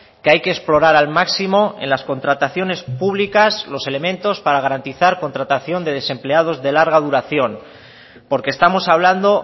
que hay que explorar al máximo en las contrataciones públicas los elementos para garantizar contratación de desempleados de larga duración porque estamos hablando